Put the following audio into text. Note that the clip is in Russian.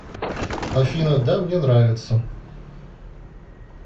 афина да мне нравится